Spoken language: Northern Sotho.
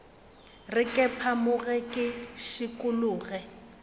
re ke phamoge ke šikologe